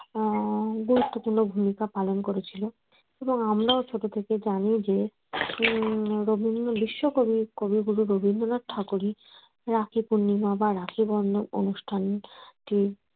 আহ গুরুত্বপূর্ণ ভূমিকা পালন করেছিল এবং আমরাও ছোট থেকে জানি যে উম রবীন্দ্র বিশ্ব কবি কবিগুরু রবীন্দ্রনাথ ঠাকুরই রাখি পূর্ণিমা বা রাখি বন্ধন অনুষ্ঠান টি